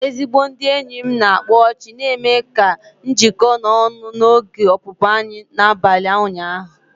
Ezigbo ndị enyi m na-akpa ọchị na-eme ka njiko na ọñu n'oge ọpụpụ anyị n'abalị ụnyahụ.